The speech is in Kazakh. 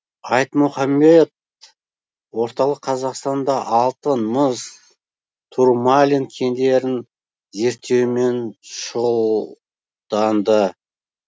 айтмұхамед орталық қазақстанда алтын мыс турмалин кендерін зерттеумен шұғылданды